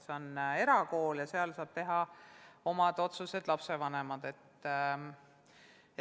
See on erakool ja selleks saavad teha oma otsuse lapsevanemad.